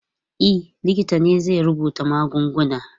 E, likita ne zai rubuta magungunan.